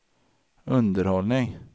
underhållning